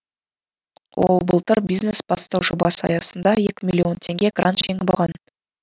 ол былтыр бизнес бастау жобасы аясында екі миллион теңге грант жеңіп алған